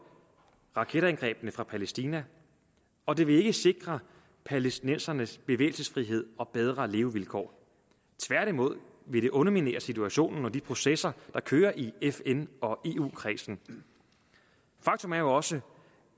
raketangrebene fra palæstina og det vil ikke sikre palæstinenserne bevægelsesfrihed og bedre levevilkår tværtimod vil det underminere situationen og de processer der kører i fn og eu kredsen faktum er jo også